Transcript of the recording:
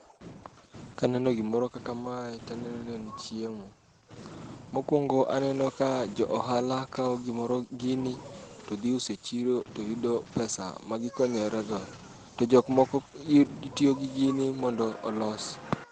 Kaneno gimoro kaka mae taneno ni en chiemo. Mokwongo aneno ka jo ohala kawo gimoro gini to dhi uso e chiro to yudo pesa ma gidhi konyore go. To jok moko iy gitiyo gi gini mondo olos.